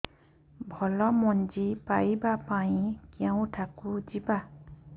ଭଲ ମଞ୍ଜି ପାଇବା ପାଇଁ କେଉଁଠାକୁ ଯିବା